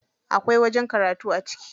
Akwai wajen karatu a ciki.